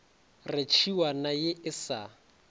re tšhiwana ye e sa